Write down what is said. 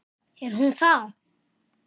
Er hún það?